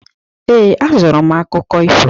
Ee, azụrụ m akwụkwọ akụkọ ifo.